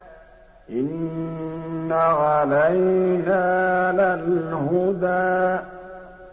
إِنَّ عَلَيْنَا لَلْهُدَىٰ